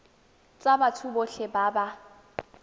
tsa batho botlhe ba ba